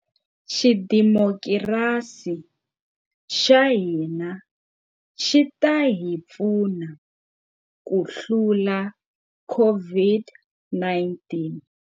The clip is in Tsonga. Xidemokirasi xa hina xi ta hi pfuna ku hlula COVID-19.